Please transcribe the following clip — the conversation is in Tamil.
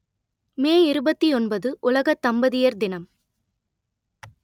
மே இருபத்தி ஒன்பது உலக தம்பதியர் தினம்